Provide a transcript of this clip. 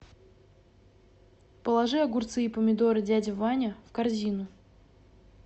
положи огурцы и помидоры дядя ваня в корзину